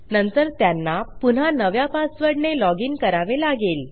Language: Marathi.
नंतर त्यांना पुन्हा नव्या पासवर्डने लॉजिन करावे लागेल